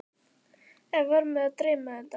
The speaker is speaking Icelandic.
Eða var mig að dreyma þetta?